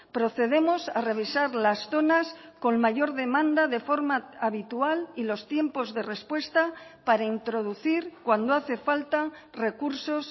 procedemos a revisar las zonas con mayor demanda de forma habitual y los tiempos de respuesta para introducir cuando hace falta recursos